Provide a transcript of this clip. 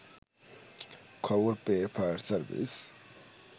খবর পেয়ে fire service